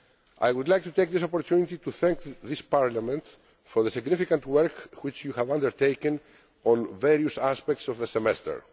I would like to take this opportunity to thank this Parliament for the significant work which you have undertaken on various aspects of the semester.